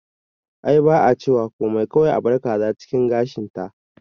Ai ba a cewa komai kawai abar kaza cikin gashin ta